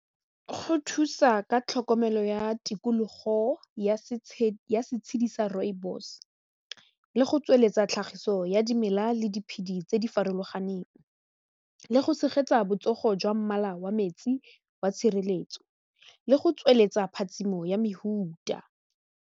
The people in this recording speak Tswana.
Go thusa ka tlhokomelo ya tikologo ya setshedi sa rooibos le go tsweletsa tlhagiso ya dimela le diphedi tse di farologaneng le go tshegetsa botsogo jwa mmala wa metsi wa tshireletso le go tsweletsa phatsimo ya mehuta.